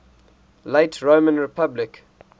late roman republic